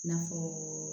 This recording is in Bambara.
I n'a fɔ